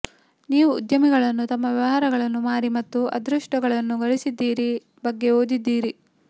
ನೀವು ಉದ್ಯಮಿಗಳನ್ನು ತಮ್ಮ ವ್ಯವಹಾರಗಳನ್ನು ಮಾರಿ ಮತ್ತು ಅದೃಷ್ಟವನ್ನು ಗಳಿಸಿದ್ದೀರಿ ಬಗ್ಗೆ ಓದಿದ್ದೀರಿ